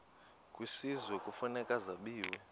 kwisizwe kufuneka zabiwe